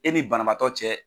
E ni banabaatɔ cɛ.